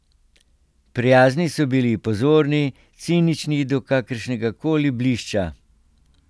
Prijazni so bili, pozorni, cinični do kakršnega koli blišča.